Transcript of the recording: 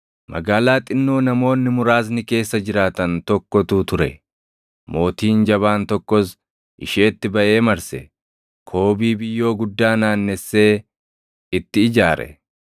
Magaalaa xinnoo namoonni muraasni keessa jiraatan tokkotu ture. Mootiin jabaan tokkos isheetti baʼee marse; koobii biyyoo guddaa naannessee itti ijaare.